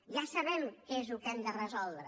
ja sabem què és el que hem de resoldre